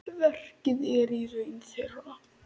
Verkið er í raun þeirra.